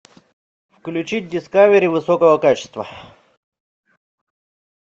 включить дискавери высокого качества